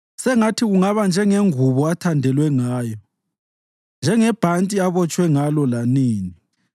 Sengathi kungaba njengengubo athandelwe ngayo njengebhanti abotshwe ngalo lanini.”